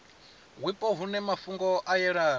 wipo hune mafhungo a yelanaho